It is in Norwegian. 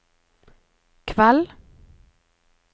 kveld